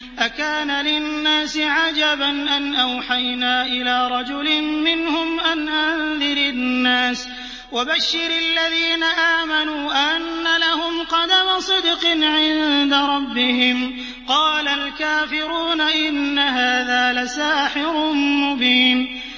أَكَانَ لِلنَّاسِ عَجَبًا أَنْ أَوْحَيْنَا إِلَىٰ رَجُلٍ مِّنْهُمْ أَنْ أَنذِرِ النَّاسَ وَبَشِّرِ الَّذِينَ آمَنُوا أَنَّ لَهُمْ قَدَمَ صِدْقٍ عِندَ رَبِّهِمْ ۗ قَالَ الْكَافِرُونَ إِنَّ هَٰذَا لَسَاحِرٌ مُّبِينٌ